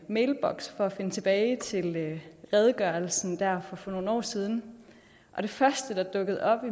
mailboks for at finde tilbage til redegørelsen der for nogle år siden og det første der er dukkede op